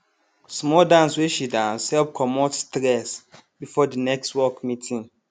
small dance wey she dance help commot stress before de next work meeting